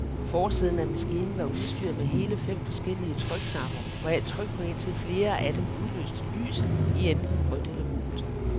Forsiden af maskinen var udstyret med hele fem forskellige trykknapper, hvoraf tryk på indtil flere af dem udløste lys i enten rødt eller gult.